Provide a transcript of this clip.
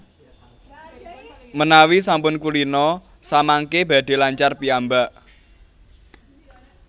Menawi sampun kulina samangké badhé lancar piyambak